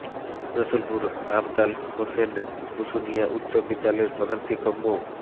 রসুলপুর আবদাল হোসেন বসুনিয়া উচ্চ বিদ্যালয়ের প্রধান শিক্ষক মো